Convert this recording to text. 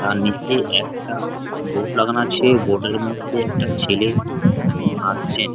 তার নিচে একটা বোর্ড লাগানো আছে বোর্ড -এর মধ্যে একটা ছেলে আঁকছেন ।